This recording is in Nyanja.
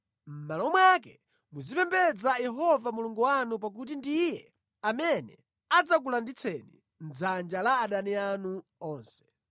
Mʼmalo mwake muzipembedza Yehova Mulungu wanu pakuti ndiye amene adzakulanditsani mʼdzanja la adani anu onse.”